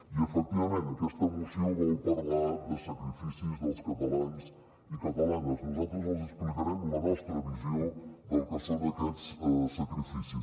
i efectivament aquesta moció vol parlar de sacrificis dels catalans i catalanes nosaltres els explicarem la nostra visió del que són aquests sacrificis